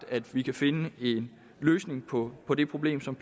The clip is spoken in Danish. at vi kan finde en løsning på på det problem som